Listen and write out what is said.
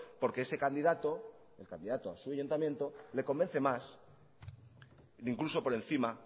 porque ese candidato el candidato a su ayuntamiento le convence más incluso por encima